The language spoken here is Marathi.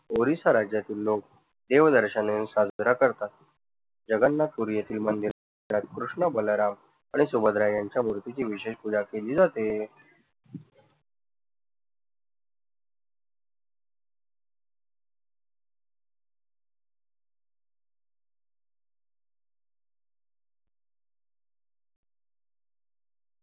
ओडीसा राज्यातील लोक देव दर्शन घेऊन साजरा करतात. जगन्नाथपुरी येथील मंदिरात कृष्ण बलराम आणि सुभद्रा यांच्या मूर्तीची विशेष पूजा केली जाते.